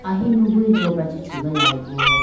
ahinu bo lopra chee chugalayi bo.